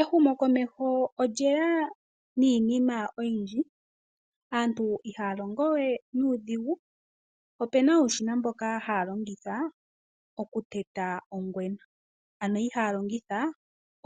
Ehumokomeho olye ya niinima oyindji, aantu iha ya longowe nuudhigu. Opu na uushina mboka ha ya longitha oku teta ongwena, ano ihaya longitha we